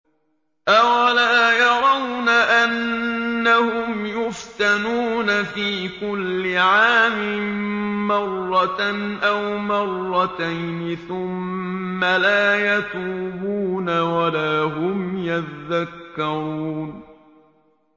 أَوَلَا يَرَوْنَ أَنَّهُمْ يُفْتَنُونَ فِي كُلِّ عَامٍ مَّرَّةً أَوْ مَرَّتَيْنِ ثُمَّ لَا يَتُوبُونَ وَلَا هُمْ يَذَّكَّرُونَ